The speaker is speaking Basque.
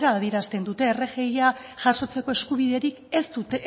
hala adierazten dute rgia jasotzeko eskubiderik